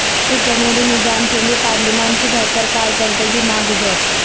مضبوط جمہوری نظام کے لیے پارلیمان کی بہتر کارکردگی ناگزیر